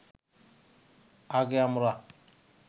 আগে আমরা